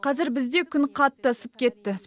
қазір бізде күн қатты ысып кетті